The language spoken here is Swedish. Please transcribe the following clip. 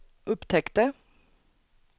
upptäckte